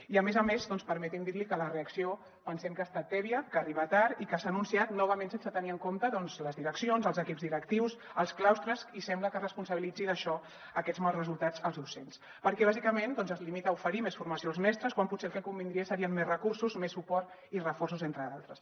i a més a més doncs permeti’m dir li que la reacció pensem que ha estat tèbia que arriba tard i que s’ha anunciat novament sense tenir en compte les direccions els equips directius els claustres i sembla que responsabilitzi d’això d’aquests mals resultats els docents perquè bàsicament es limita a oferir més formació als mestres quan potser el que convindria serien més recursos més suport i reforços entre d’altres